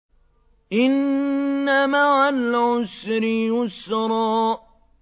إِنَّ مَعَ الْعُسْرِ يُسْرًا